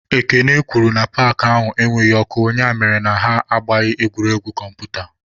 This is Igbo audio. Ekene kwuru na paakị ahụ enweghị ọkụ ya mere na ha agbaghị egwuregwu kọmputa.